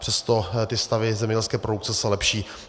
Přesto ty stavy zemědělské produkce se lepší.